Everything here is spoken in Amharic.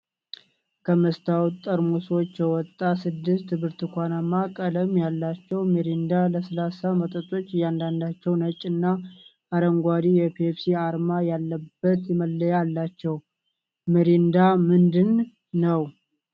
ከመስታወት ጠርሙሶች የወጣ ስድስት ብርቱካናማ ቀለም ያላቸው ሚሪንዳ ለስላሳ መጠጦች። እያንዳንዳቸው ነጭ እና አረንጓዴ የፔፕሲ አርማ ያለበት መለያ አላቸው። ሚሪንዳ ምንድን ነው?